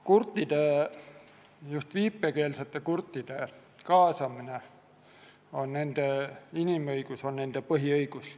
Kurtide, just viipekeelsete kurtide kaasatus on nende inimõigus, nende põhiõigus.